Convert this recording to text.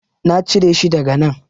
Na cire shi daga nan.